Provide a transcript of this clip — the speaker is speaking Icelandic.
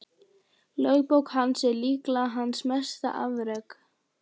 Lögbók hans er líklega hans mesta afrek.